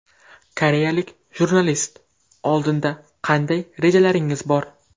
Koreyalik jurnalist: Oldinda qanday rejalaringiz bor?